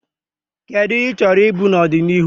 Kedu ihe ị chọrọ ịbụ n'ọdịnihu?